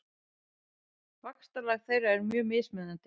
Vaxtarlag þeirra er mjög mismunandi.